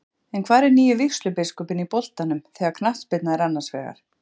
En hvar er nýi vígslubiskupinn í boltanum þegar knattspyrna er annars vegar?